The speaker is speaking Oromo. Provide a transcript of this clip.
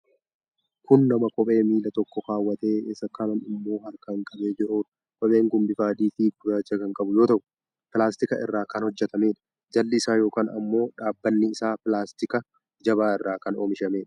Kun nama kophee miila tokkoo kaawwatee isa kaan ammoo harkaan qabee jiruudha. Kopheen kun bifa adii fi gurraacha kan qabu yoo ta'u. pilaastika irraa kan hojjatameedha. Jalli isaa yookiin ammoo dhabbanni isaa pilaastika jabaa irraa kan oomishamedha.